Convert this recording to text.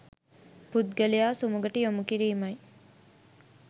පුද්ගලයා සුමගට යොමු කිරීමයි.